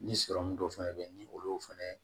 Ni sɔrɔmu dɔ fɛnɛ bɛ yen ni olu y'o fɛnɛ